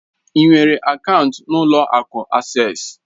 Ị nwere akaụntụ na ụlọ akụ Asés?